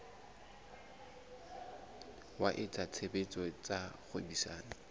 wa etsa tshebetso tsa kgwebisano